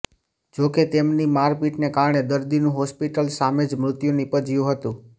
જોકે તેમની મારપીટને કારણે દર્દીનું હોસ્પિટલ સામે જ મૃત્યુ નીપજ્યું હતું